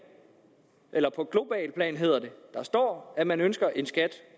eller på globalt plan hedder det der står at man ønsker en skat